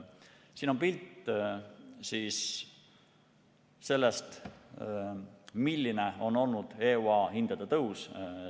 Siin on pilt sellest, milline on olnud EUA hindade tõus.